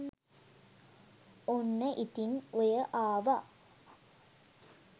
ඔන්න ඉතින් ඔය ආව